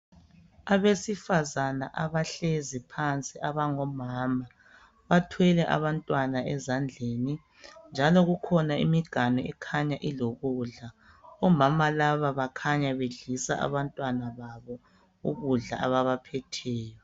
Abesifazana abahlezi phansi abangomama. Bathwele abantwana ezandleni njalo kukhona imiganu ekhanya ilokudla. Omama laba bakhanya bedlisa abantwana babo ukudla ababaphetheyo.